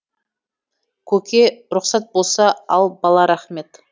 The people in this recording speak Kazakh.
көке рұқсат болса ал бала рақмет